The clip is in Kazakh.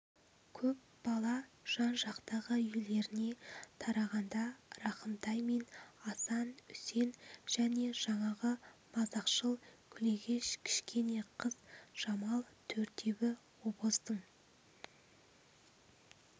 көп бала жан-жақтағы үйлеріне тарағанда рахымтай мен асан үсен және жаңағы мазақшыл күлегеш кішкене қыз жамал төртеуі обоздың